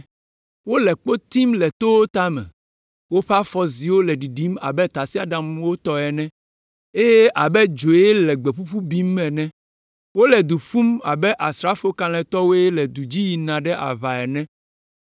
Wole kpo tim le towo tame, woƒe afɔziwo le ɖiɖim abe tasiaɖamwo tɔ ene eye abe dzoe le gbe ƒuƒu bim ene. Wole du ƒum abe asrafo kalẽtɔwoe le du dzi yina ɖe aʋa ene.